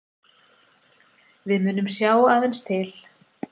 Við munum sjá aðeins til